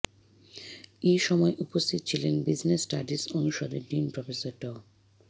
এ সময় উপস্থিত ছিলেন বিজনেস স্টাডিজ অনুষদের ডিন প্রফেসর ড